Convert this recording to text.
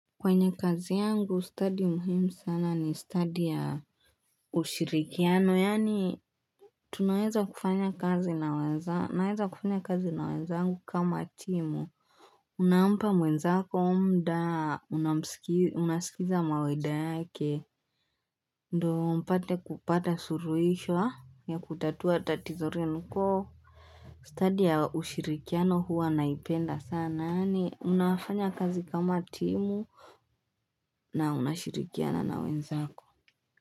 Kwenye kazi yangu, stadi muhimu sana ni stadi ya ushirikiano, yani, tunaweza kufanya kazi naweza, naweza kufanya kazi naweza angu kama timu. Unaampa mwezako mda, unasikiza maweda yake, ndo mpate kupata suruhisho ya kutatua tatizorenu ko. Study ya ushirikiano huwa naipenda sana ni unafanya kazi kama timu na unashirikiana na wenzako.